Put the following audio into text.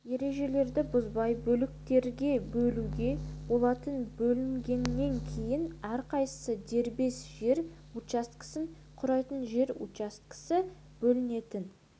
ережелерді бұзбай бөліктерге бөлуге болатын бөлінгеннен кейін әрқайсысы дербес жер учаскесін құрайтын жер учаскесі бөлінетін